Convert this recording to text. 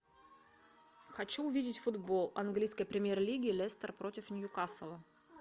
хочу увидеть футбол английской премьер лиги лестер против ньюкасла